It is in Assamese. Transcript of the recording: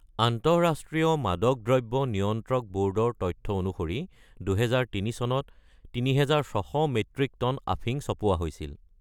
আন্তঃৰাষ্ট্ৰীয় মাদক দ্ৰব্য নিয়ন্ত্ৰক ব’ৰ্ডৰ তথ্য অনুসৰি, ২০০৩ চনত ৩৬০০ মেট্ৰিক টন আফিং চপোৱা হৈছিল।